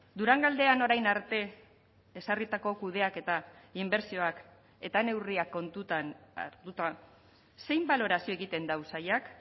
durangaldean orain arte ezarritako kudeaketa inbertsioak eta neurriak kontutan hartuta zein balorazio egiten du sailak